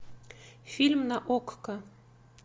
фильм на окко